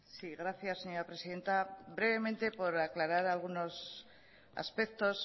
sí gracias señora presidenta brevemente por aclarar algunos aspectos